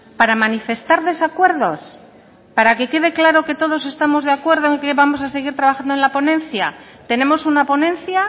para manifestar desacuerdos para que quede claro que todos estamos de acuerdo y que vamos a seguir trabajando en la ponencia tenemos una ponencia